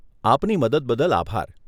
આપની મદદ બદલ આભાર.